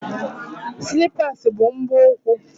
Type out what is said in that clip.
Silipas bu mgbu úkwú